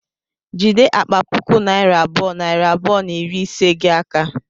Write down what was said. Jide akpa puku naira abụọ, nari abụọ na iri ise gi a aka